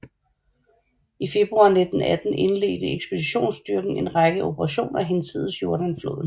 I februar 1918 indledte ekspeditionsstyrken en række operationer hinsides Jordan floden